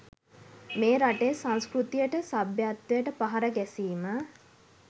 මේ රටේ සංස්කෘතියට සභ්‍යත්වයට පහර ගැසීම